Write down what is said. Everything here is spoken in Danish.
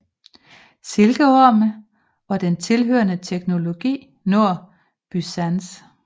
Silkeorme og den tilhørende teknologi når Byzans